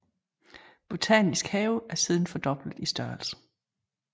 Botanisk hage er siden fordoblet i størrelse